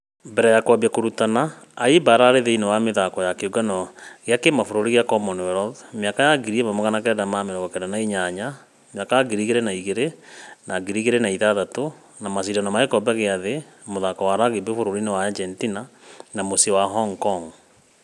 Mbere ya kumũambia kũrutana , ayimba ararĩ thĩinĩ wa mĩthako ya kĩũngano gĩa kĩmabũrũri gĩa commonwealth miaka ya 1998, 2002 na 2006 na mashidano ma gĩkobe gĩa thĩ mũghako wa rugby bũrũri wa argentina na mũciĩ hong kong.